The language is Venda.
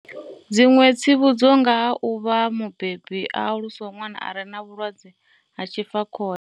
Dziṅwe tsivhudzo nga ha u vha mubebi a alusaho ṅwana a re na vhulwadze ha tshifakhole.